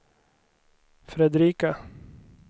Fredrika